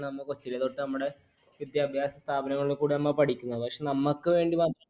നമ്മൾ കൊച്ചില് തൊട്ട് നമ്മടെ വിദ്യാഭ്യാസ സ്ഥാപനങ്ങളിൽ നമ്മൾ പഠിക്കുന്നത് പക്ഷെ നമ്മക്ക് വേണ്ടി ആഹ്